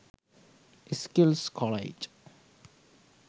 skills college